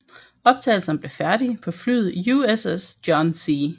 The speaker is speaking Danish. Optagelserne blev færdige på flyet USS John C